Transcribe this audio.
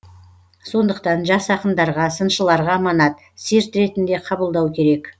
сондықтан жас ақындарға сыншыларға аманат серт ретінде қабылдау керек